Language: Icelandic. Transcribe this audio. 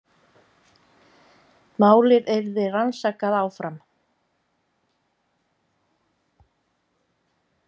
Málið yrði rannsakað áfram